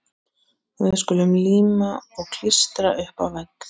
Við skulum líma og klístra upp á vegg.